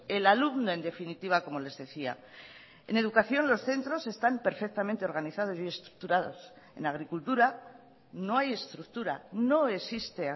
el alumno en definitiva como les decía en educación los centros están perfectamente organizados y estructurados en agricultura no hay estructura no existe